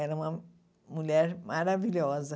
Ela é uma mulher maravilhosa.